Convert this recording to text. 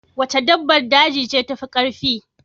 Wace dabbar daje ce tafi kowace karfi?